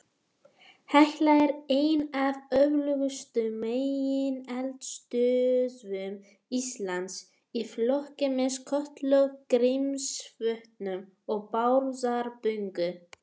Hekla er ein af öflugustu megineldstöðvum Íslands, í flokki með Kötlu, Grímsvötnum og Bárðarbungu.